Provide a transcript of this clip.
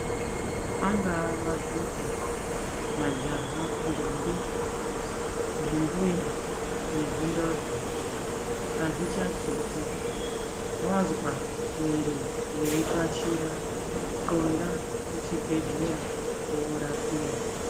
Angaa madhodha, majaha, ntombi, zvimbuya nezvindodha, hazvichakhethi. Wazwa mwiri weyipashiwa xonda kuchibhedhlera worapiwa.